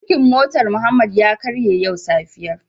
Birkin motar Muhammad ya karye yau safiyar.